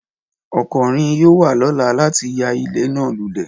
Ọkọnrin yoo wa lọla lati ya ile naa lulẹ.